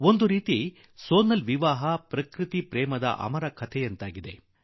ಒಂದು ರೀತಿಯಲ್ಲಿ ಸೋನಾಲ್ ಮದುವೆ ಪ್ರಕೃತಿ ಪ್ರೇಮದ ಅಮರ ಕಥೆಯಾಗಿ ಬಿಟ್ಟಿತು